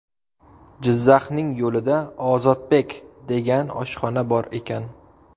Jizzaxning yo‘lida ‘Ozodbek’ degan oshxona bor ekan.